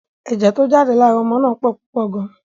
Ẹ̀jẹ̀ tó jáde lára ọmọ náà pupa gan.